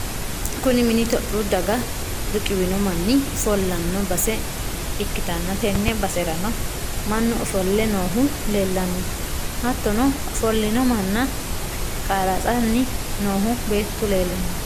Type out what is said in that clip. kuni mini topiyu daga riqiwino manni ofollanno base ikkitanna tenne baserano mannu ofolle noohu leelanno hattono ofo'lino manna qarratsanni noohu beettu leelanno.